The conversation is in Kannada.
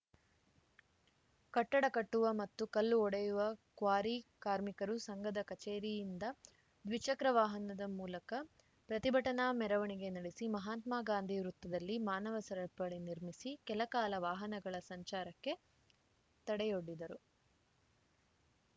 ಕಟ್ಟಡ ಕಟ್ಟುವ ಮತ್ತು ಕಲ್ಲು ಒಡೆಯುವ ಕ್ವಾರಿ ಕಾರ್ಮಿಕರು ಸಂಘದ ಕಚೇರಿಯಿಂದ ದ್ವಿಚಕ್ರವಾಹನದ ಮೂಲಕ ಪ್ರತಿಭಟನಾ ಮೆರವಣಿಗೆ ನಡೆಸಿ ಮಹಾತ್ಮಗಾಂಧಿ ವೃತ್ತದಲ್ಲಿ ಮಾನವ ಸರಪಳಿ ನಿರ್ಮಿಸಿ ಕೆಲಕಾಲ ವಾಹನಗಳ ಸಂಚಾರಕ್ಕೆ ತಡೆಯೊಡಿದ್ದರು